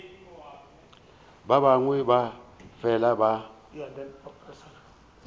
ba bangwe ba fela ba